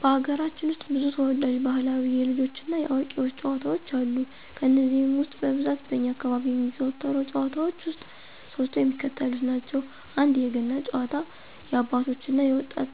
በሀገራችን ውስጥ ብዙ ተወዳጅ ባህላዊ የልጆች እና የአዋቂዎች ጨዋታዎች አሉ። ከነዚህም ውስጥ በብዛት በእኛ አካባቢ የሚዘወተሩ ጭዋታዎች ውስጥ ሶስቱ የሚከተሉትን ናቸው፦ 1=የገና ጨዋታ- የአባቶች እና የወጣት